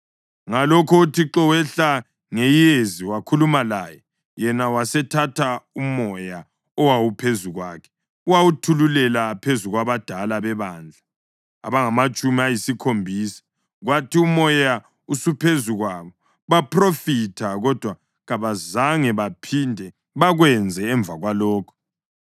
Ngalokho uThixo wehla ngeyezi wakhuluma laye, yena wasethatha uMoya owawuphezu kwakhe wawethulela phezu kwabadala bebandla abangamatshumi ayisikhombisa. Kwathi uMoya usuphezu kwabo, baphrofitha, kodwa kabazange baphinde bakwenze emva kwalokho.